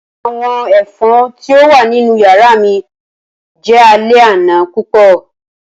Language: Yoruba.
Awọn efon ti o wa ninu yara mi jẹ alẹ ana pupọ.